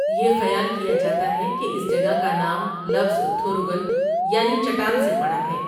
یہ خیال کیا جاتا ہے کہ اس جگہ کا نام لفظ 'تھوروگل' یعنی چٹان سے پڑا ہے۔